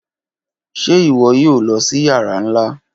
Ṣe iwọ yoo lọ si yara nla?